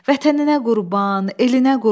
Vətəninə qurban, elinə qurban.